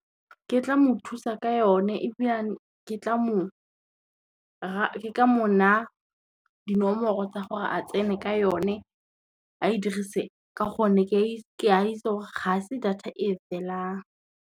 Ke tla mo thusa ka yone ebilane ke ka mo naa dinomoro tsa gore a tsene ka yone, a e dirise ka gonne ke a itse gore ga se data e felang.